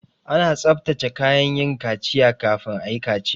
Ana tsabtace kayan yin kaciya kafin ayi kaciya